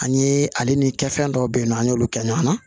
An ye ale ni kɛ fɛn dɔw bɛ yen nɔ an y'olu kɛ ɲɔgɔn na